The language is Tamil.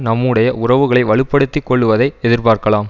நம்முடைய உறவுகளை வலு படுத்தி கொள்ளுவதை எதிர்பார்க்கலாம்